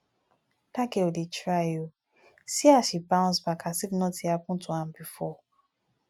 dat girl dey try oo see as she bounce back as if nothing happen to am before